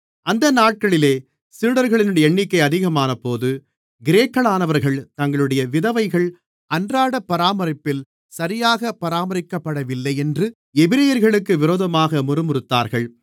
அந்த நாட்களிலே சீடர்களின் எண்ணிக்கை அதிகமானபோது கிரேக்கர்களானவர்கள் தங்களுடைய விதவைகள் அன்றாட பராமரிப்பில் சரியாக பராமரிக்கப்படவில்லையென்று எபிரெயர்களுக்கு விரோதமாக முறுமுறுத்தார்கள்